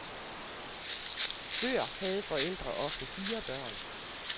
Før havde forældre ofte fire børn.